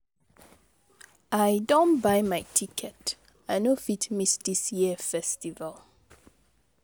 I don buy my ticket, I no fit miss dis year festival.